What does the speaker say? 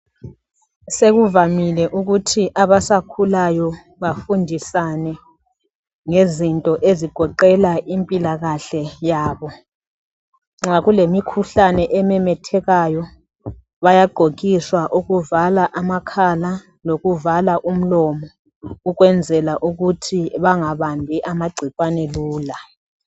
Sekuvamile ukuthi abasakhulayo bafundisana ngezinto ezigoqela impila kahle yabo, nxa kulemikhuhlane ememethekayo bayagqokiswa okuvala amakhala lokuvala umlomo ukwenzela bengabambi amagcikwane lula.